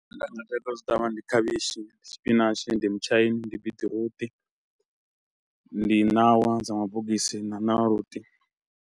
Zwe nda vhuya nda zwi ṱavha ndi khavhishi, spinach, ndi mutshaini, ndi biṱiruṱi, ndi ṋawa dza mabogisi na na .